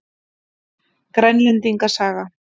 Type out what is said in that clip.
Grænlendinga saga.